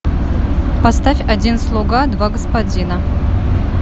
поставь один слуга два господина